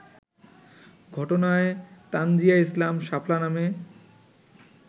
ঘটনায় তানজীয়া ইসলাম শাপলা নামে